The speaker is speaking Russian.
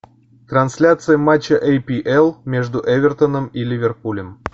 трансляция матча апл между эвертоном и ливерпулем